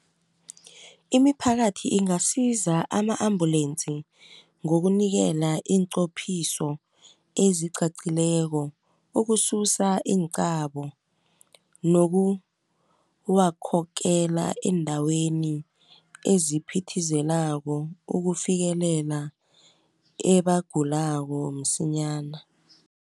Imiphakathi ingasiza ama-ambulensi ngokunikela iinqophiso ezicacileko ukususa iinqabo, nokuwakhokela eendaweni eziphithizelako ukufikelela ebagulako msinyana.